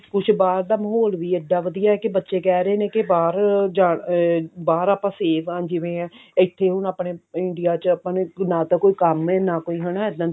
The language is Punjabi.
ਕੁਛ ਬਾਹਰ ਦਾ ਮਾਹੋਲ ਵੀ ਇੱਡਾ ਵਧੀਆ ਹੈ ਕੀ ਬੱਚੇ ਕਿਹ ਰਹੇ ਨੇ ਕਿ ਬਾਹਰ ਜਾਨ ਅਮ ਬਾਹਰ ਆਪਾਂ safe ਹਾਂ ਜਿਵੇਂ ਇੱਥੇ ਹੁਣ ਆਪਣੇ India ਚ ਆਪਣੇ ਨਾ ਤਾਂ ਕੋਈ ਕੰਮ ਹੈ ਨਾ ਕੋਈ ਹਨਾ ਇੱਦਾਂ ਦਾ